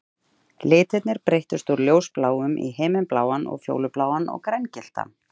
Litirnir breyttust úr ljósbláum í himinbláan og fjólubláan og grængylltan